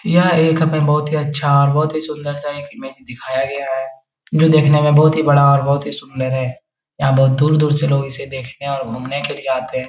यह एक हमें बहुत ही अच्छा और बहुत ही सुंदर-सा एक इमेज दिखाया गया है जो दिखने में बहुत ही बड़ा और बहुत ही सुंदर है यहां बहुत दूर-दूर से लोग इसे देखने और घूमने के लिए आते हैं|